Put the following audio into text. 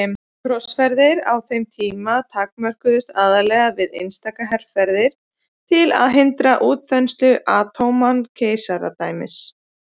Krossferðir á þeim tíma takmörkuðust aðallega við einstaka herferðir til að hindra útþenslu Ottóman-keisaradæmisins.